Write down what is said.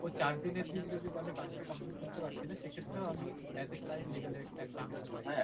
ও চার দিনের দিন যদি বলে কাজটা complete করতে পারছিনা সেক্ষেত্রেও আমি as a client legal action নিতে পারি